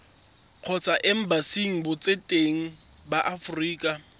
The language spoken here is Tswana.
kgotsa embasing botseteng ba aforika